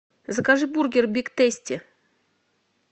закажи бургер биг тейсти